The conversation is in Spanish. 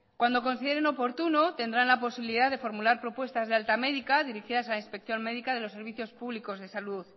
cuando consideren oportuno tendrán la posibilidad de formular propuestas de alta médica dirigidas a la inspección médica de los servicios públicos de salud